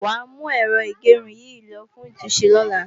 Wàá mú Ẹ̀rọ ìgẹrun yìí lo fún ìtúnṣe lọ́la